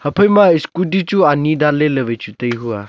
ephai ma scooty chu ani dan ley ley wai chu tai hu a.